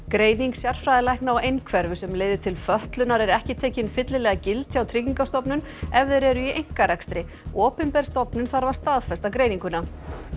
greining sérfræðilækna á einhverfu sem leiðir til fötlunar er ekki tekin fyllilega gild hjá Tryggingastofnun ef þeir eru í einkarekstri opinber stofnun þarf að staðfesta greininguna